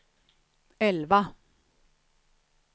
elva